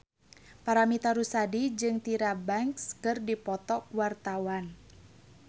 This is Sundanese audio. Paramitha Rusady jeung Tyra Banks keur dipoto ku wartawan